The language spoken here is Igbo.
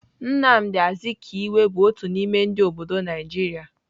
Nnamdi Azikiwe bụ otu n'ime ndị obodo Naijiria.